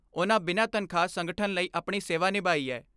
ਉਨ੍ਹਾਂ ਬਿਨਾਂ ਤਨਖਾਹ ਸੰਗਠਨ ਲਈ ਆਪਣੀ ਸੇਵਾ ਨਿਭਾਈ ਐ।